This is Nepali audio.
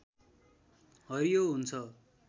हरियो हुन्छ